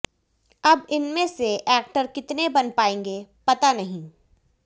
अब इनमें से एक्टर कितने बन पाएंगे पता नहीं